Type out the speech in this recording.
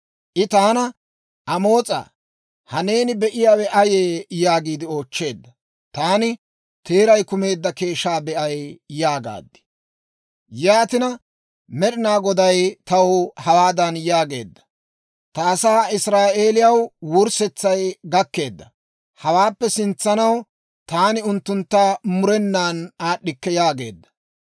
I taana, «Amoos'aa, ha neeni be'iyaawe ayee?» yaagiide oochcheedda. Taani, «Teeray kumeedda keeshshaa be'ay» yaagaad. Yaatina Med'inaa Goday taw hawaadan yaageedda; «Ta asaa Israa'eelaw wurssetsay gakkeedda; hawaappe sintsanaw taani unttuntta murenan aad'd'ikke» yaageedda.